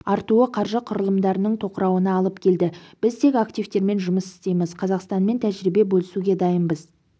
артуы қаржы құрылымдарының тоқырауына алып келді біз тек активтермен жұмыс істейміз қазақстанмен тәжірибе бөлісуге дайынбыз